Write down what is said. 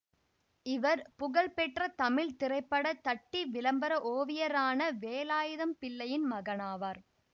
இவர் புகழ்பெற்ற தமிழ் திரைப்பட தட்டி விளம்பர ஓவியரான வேலாயுதம் பிள்ளையின் மகனாவார்